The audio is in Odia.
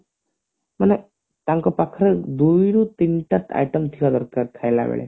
ମାନେ ତାଙ୍କ ପାଖରେ ଦୁଇରୁ ତିନିଟା item ଥିବା ଦରକାର ଖାଇଲାବେଳେ